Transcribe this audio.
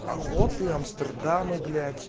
охоты амстердамы блять